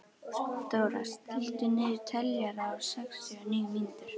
Dóra, stilltu niðurteljara á sextíu og níu mínútur.